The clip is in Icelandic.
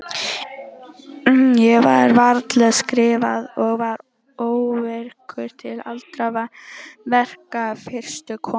Ég gat varla skrifað og var óvirkur til allra verka fyrstu vikuna.